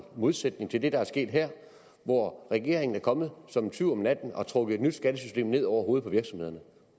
modsætning til det der er sket her hvor regeringen er kommet som en tyv om natten og har trukket et nyt skattesystem ned over hovedet på virksomhederne